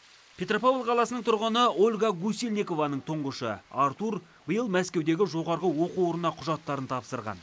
петропавл қаласының тұрғыны ольга гусельникованың тұңғышы артур биыл мәскеудегі жоғары оқу орнына құжаттарын тапсырған